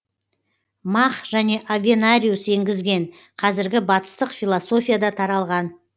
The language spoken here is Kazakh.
мах және авенариус еңгізген қазіргі батыстық философияда таралған